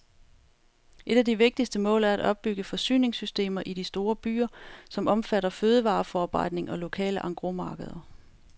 Et af de vigtigste mål er at opbygge forsyningssystemer i de store byer, som omfatter fødevareforarbejdning og lokale engrosmarkeder.